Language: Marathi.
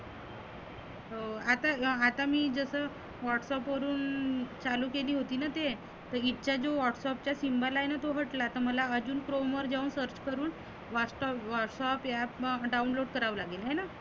हो आता गा आता मी जसं WhatsApp वरुन चालु केली होती ना ते. तर इतका जो WhatsApp चा जो symbol आहेना तो हटला मला अजुन chrome जाऊन search करुण वास्तव WhatsApp app download कराव लागेल हाय ना?